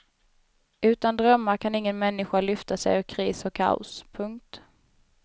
Utan drömmar kan ingen människa lyfta sig själv ur kris och kaos. punkt